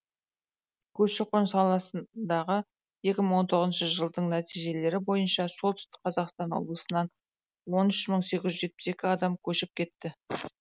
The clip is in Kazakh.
көші қон саласындағы екі мың он тоғыз жылдың нәтижелері бойынша солтүстік қазақстан облысынан он үш мың сегіз жүз жетпіс екі адам көшіп кетті